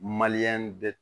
Maliyɛn bɛɛ